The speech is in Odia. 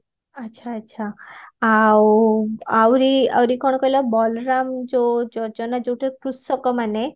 ଆଚ୍ଛା ଆଚ୍ଛା ଆଉ ଆଉରି ଆଉରି କଣ କହିଲ ବଳରାମ ଯୋ ଯୋଜନା ଯୋଉଟାରେ କୃଶକ ମାନେ